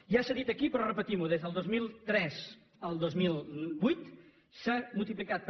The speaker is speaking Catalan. ja s’ha dit aquí però repetimho del dos mil tres al dos mil vuit s’ha multiplicat per